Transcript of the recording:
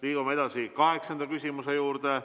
Liigume edasi kaheksanda küsimuse juurde.